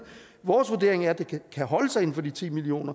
vores vurdering er at det kan holdes inden for de ti million